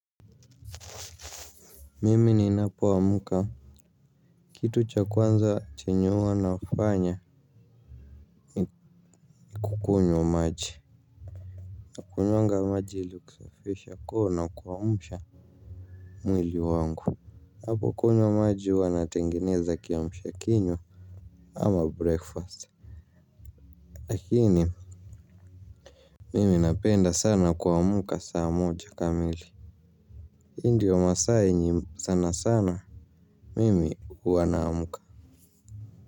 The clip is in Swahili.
Mimi ninapoamuka kitu cha kwanza chenye huwa nafanya ni kukunywa maji nakunywanga maji ili kusafisha koo na kuamsha mwili wangu napokunywa maji huwa natengeneza kiamsha kinywa ama breakfast. Lakini mimi napenda sana kuamka saa moja kamili hii ndio masaa yenye sana sana. Mimi huwa naamka.